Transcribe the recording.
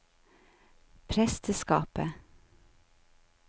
presteskapet